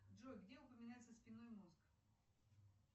джой где упоминается спинной мозг